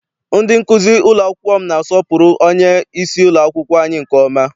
Ndị nkụzi ụlọ akwụkwọ m na-asọpụrụ onyeisi ụlọakwụkwọ anyị nke ọma.